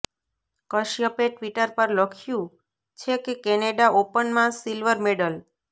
કશ્યપે Twitter પર લખ્યું છે કે કેનેડા ઓપનમાં સિલ્વર મેડલ